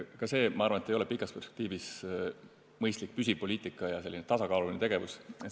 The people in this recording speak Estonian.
Ka see, ma arvan, ei ole pikas perspektiivis mõistlik püsipoliitika ja tasakaaluline tegevus.